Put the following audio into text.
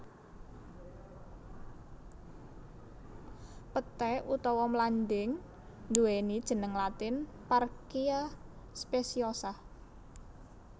Peté utawa mlanding nduwéni jeneng latin Parkia speciosa